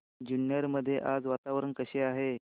जुन्नर मध्ये आज वातावरण कसे आहे